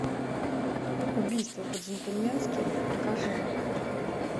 убийство по джентльменски покажи